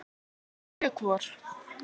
Sjö hvor.